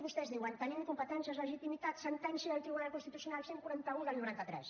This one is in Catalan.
vostès diuen tenim competències legitimitats sentència del tribunal constitucional cent i quaranta un del noranta tres